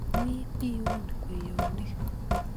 wii piun kweyonik